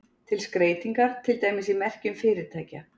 Til skreytingar, til dæmis í merkjum fyrirtækja.